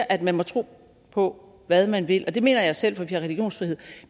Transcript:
at man må tro på hvad man vil det mener jeg selv for vi har religionsfrihed